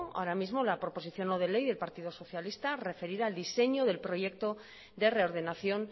ahora mismo la proposición no de ley del partido socialista referida al diseño del proyecto de reordenación